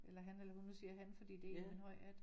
Eller han eller hun du siger jeg han fordi det en med en høj hat